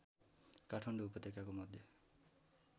काठमाडौँ उपत्यकाको मध्य